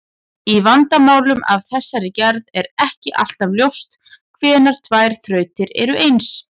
Í vandamálum af þessari gerð er ekki alltaf ljóst hvenær tvær þrautir eru eins.